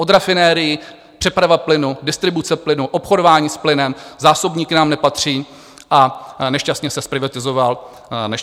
Od rafinerií, přeprava plynu, distribuce plynu, obchodování s plynem, zásobníky nám nepatří a nešťastně se zprivatizoval ČEZ.